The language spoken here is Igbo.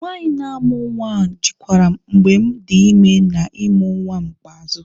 Nwanyị na-amụ nwa ahu jikwaram mgbem di ime na ịmụ nwam ikpeazụ.